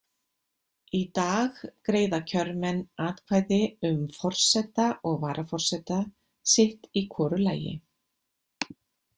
Í dag greiða kjörmenn atkvæði um forseta og varaforseta sitt í hvoru lagi.